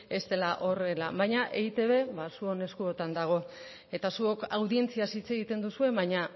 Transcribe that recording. ez dela horrela baina eitb zuon eskuotan dago eta zuok audientziaz hitz egiten duzue baina